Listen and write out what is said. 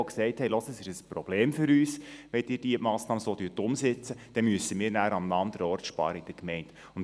Sie sagten, es wäre ein Problem für sie, wenn wir die Massnahme so umsetzten, weil sie in der Gemeinde dann an einem anderen Ort sparen müssten.